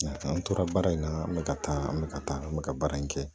An tora baara in na an bɛ ka taa an bɛ ka taa an bɛ ka baara in kɛ